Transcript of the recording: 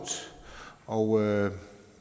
og